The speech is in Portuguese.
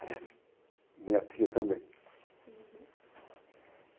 Aliás, minha tia também. Uhum.